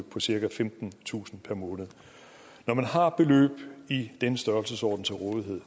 på cirka femtentusind om måneden når man har beløb i den størrelsesorden til rådighed